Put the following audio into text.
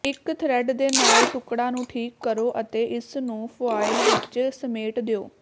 ਇੱਕ ਥਰਿੱਡ ਦੇ ਨਾਲ ਟੁਕੜਾ ਨੂੰ ਠੀਕ ਕਰੋ ਅਤੇ ਇਸ ਨੂੰ ਫੁਆਇਲ ਵਿੱਚ ਸਮੇਟ ਦਿਓ